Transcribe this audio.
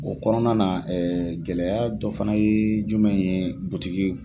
O kɔnɔna na gɛlɛya dɔ fana ye jumɛn ye butigi